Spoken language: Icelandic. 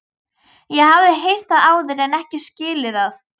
Ég hafði heyrt það áður en ekki skilið það.